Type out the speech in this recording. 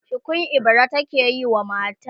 shukun ibira take yi wa matan